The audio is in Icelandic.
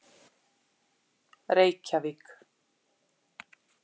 Reykjavík